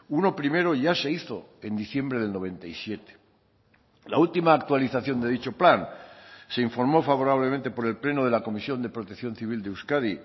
uno primero ya se hizo en diciembre del noventa y siete la última actualización de dicho plan se informó favorablemente por el pleno de la comisión de protección civil de euskadi